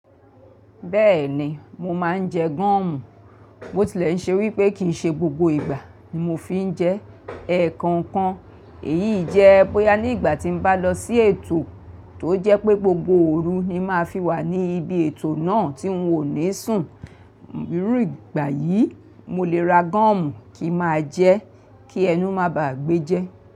Bẹ́ẹ̀ni, mo máa ń jẹ gọ́ọ̀mù. Bo tilẹ̀ ṣe wípé kì í ṣe gbogbo ìgbà ni mo fi ń jẹ ẹ́kọ̀ọ̀kan. Èyí jẹ́ bóyá ní ìgbà tí mo bá lọ sí ètò tó jẹ́ pé gbogbo òru ni máa fi wà ní ibi ètò náà tí n ò ní sùn. Iru ìgbà yìí, mo lè ra gọ́ọ̀mù kí ma jẹ́ kí ẹnu máa ba à gbé jẹ́.